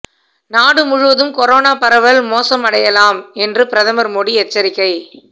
நாடு முழுவதும் கொரோனா பரவல் மோசமடையலாம் என்று பிரதமர் மோடி எச்சரிக்கை